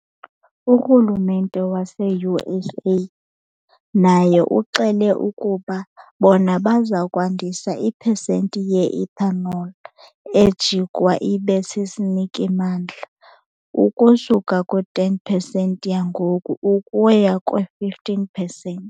Urhulumente waseUSA naye uxele ukuba bona baza kwandisa ipesenti ye-ethanol ejikwa ibe sisiniki-mandla ukusuka kwi-10 percent yangoku ukuya kwi-15 percent.